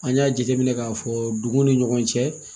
An y'a jateminɛ k'a fɔ duguw ni ɲɔgɔn cɛ